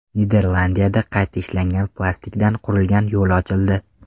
Niderlandiyada qayta ishlangan plastikdan qurilgan yo‘l ochildi.